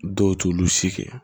Dɔw t'olu si kɛ